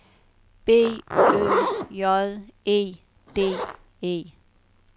B Ø J E D E